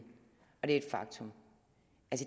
og det er et faktum